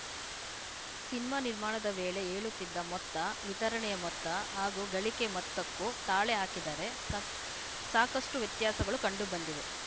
cinema ನಿರ್ಮಾಣದ ವೇಳೆ ಹೇಳುತ್ತಿದ್ದ ಮೊತ್ತ ವಿತರಣೆಯ ಮೊತ್ತ ಹಾಗೂ ಗಳಿಕೆಯ ಮೊತ್ತಕ್ಕೂ ತಾಳೆ ಹಾಕಿದರೆ ಸಾಕ ಸಾಕಷ್ಟುವ್ಯತ್ಯಾಸಗಳು ಕಂಡು ಬಂದಿವೆ